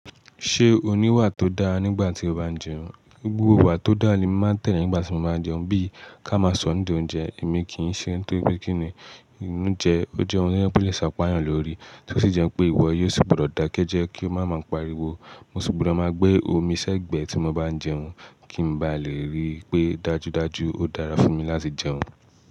Ṣé o ní iwà tó dáa nígbà tí o bá ń jẹun? Gbogbo iwà tó dàá lemi máa ń tẹ̀lé nígbà tí mo bá ń jẹun. Bí i ká máa sọro ńidi oúnjẹ, èmi kì í ṣe nitoripe kini, óunjẹ́ oje ohun tí ó lè ṣàpáyàn lórí. Tí ó sì jẹ́ pé ìwọ yóò sì gbọdọ̀ dákẹ́ jẹ́ kí ó má máa pariwo. Mo sì gbúdọ̀ máa gbé omi sẹ́gbẹ̀ẹ́ tí mo bá ń jẹun kí n ba lè rí i pé dájúdájú ó dára fún mi láti jẹun.